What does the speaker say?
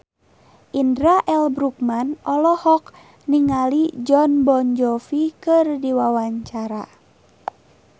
Indra L. Bruggman olohok ningali Jon Bon Jovi keur diwawancara